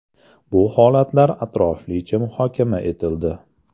Bu holatlar atroflicha muhokama etildi.